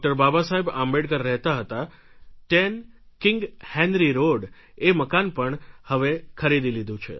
બાબાસાહેબ આંબેડકર રહેતા હતા 10 king Henry road એ મકાન પણ હવે ખરીદી લીધું છે